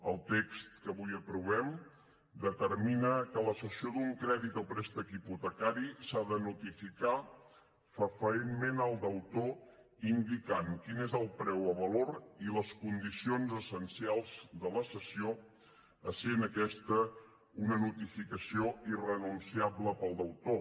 el text que avui aprovem determina que la cessió d’un crèdit o préstec hipotecari s’ha de notificar fefaentment al deutor indicant quin és el preu o valor i les condicions essencials de la cessió essent aquesta una notificació irrenunciable per al deutor